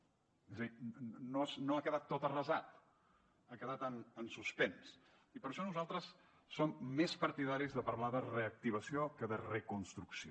és a dir no ha quedat tot arrasat ha quedat en suspens i per això nosaltres som més partidaris de parlar de reactivació que de reconstrucció